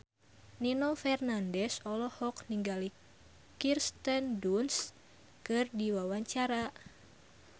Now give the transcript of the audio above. Nino Fernandez olohok ningali Kirsten Dunst keur diwawancara